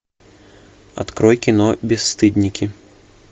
открой кино бесстыдники